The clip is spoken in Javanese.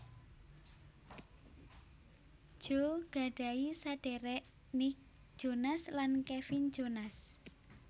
Joe gadhahi saderek Nick Jonas lan Kevin Jonas